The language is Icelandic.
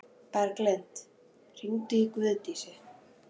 Bjarglind, hringdu í Guðdísi.